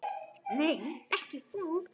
Nei, ekki þú.